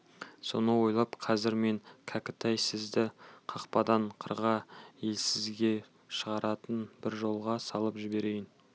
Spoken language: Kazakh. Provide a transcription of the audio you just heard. соны ойлап қазір мен кәкітай сізді қақпадан қырға елсізге шығаратын бір жолға салып жіберейін